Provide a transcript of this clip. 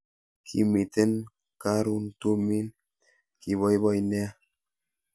Kimiten karun tumin kiboiboi nea